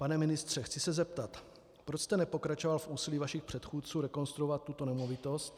Pane ministře, chci se zeptat, proč jste nepokračoval v úsilí vašich předchůdců rekonstruovat tuto nemovitost.